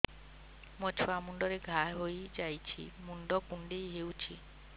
ମୋ ଛୁଆ ମୁଣ୍ଡରେ ଘାଆ ହୋଇଯାଇଛି ମୁଣ୍ଡ କୁଣ୍ଡେଇ ହେଉଛି